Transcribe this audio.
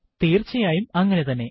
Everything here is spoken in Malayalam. തീർച്ചയായും അങ്ങനെതന്നെ